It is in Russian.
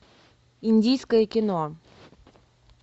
индийское кино